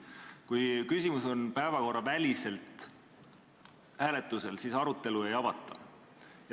Kui küsimus on päevakorraväliselt hääletusel, siis arutelu ei avata.